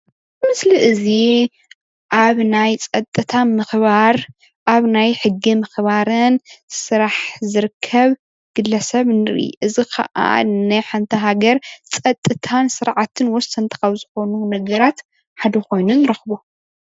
እዚ ምስሊ እዚ ኣብ ናይ ፀጥታ ምክባር ኣብ ናይ ሕጊ ምክባርን ስራሕ ዝርከብ ግለ ሰብ ንርኢ፡፡ እዚ ከዓ ናይ ሓንቲ ሃገር ፀጥታን ስርዓትን ወሰንቲ ካብ ዝኮኑ ነገራት ሓደ ኮይኑ ንረክቦ፡፡